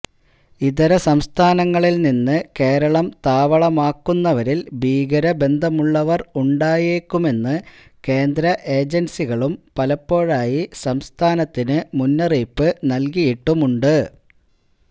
ഇതരസംസ്ഥാനങ്ങളിൽനിന്ന് കേരളം താവളമാക്കുന്നവരിൽ ഭീകരബന്ധമുള്ളവർ ഉണ്ടായേക്കുമെന്ന് കേന്ദ്ര ഏജൻസികളും പലപ്പോഴായി സംസ്ഥാനത്തിന് മുന്നറിയിപ്പ് നൽകിയിട്ടുമുണ്ട്